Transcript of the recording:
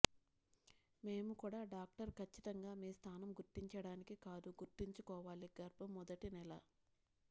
మేము కూడా డాక్టర్ ఖచ్చితంగా మీ స్థానం గుర్తించడానికి కాదు గుర్తుంచుకోవాలి గర్భం మొదటి నెల